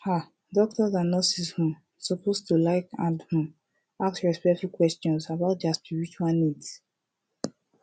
ah doctors and nurses um suppose to like and um ask respectful questions about dia spiritual needs